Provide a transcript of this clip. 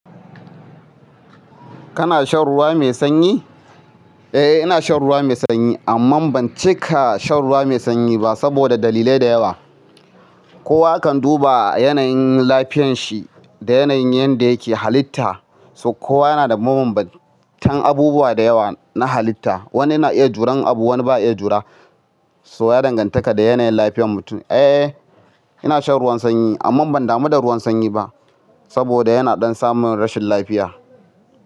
Kana shan ruwa mai sanyi? Eh, ina shan ruwa mai sanyi amma ban cika shan ruwa mai sanyi ba saboda dalilai da yawa. Kowa kan duba yanayin lafiyan shi da yanayin yadda yake halitta. Kowa yana da mabanbantan abubuwa da yawa na halitta. Wani yana iya juran abu, wani ba ya iya jura. So ya danganta da yanayin lafiyar mutum. Eh, ina shan ruwan sanyi amma ban damu da ruwan sanyi ba saboda yana ɗan samun rashin lafiya.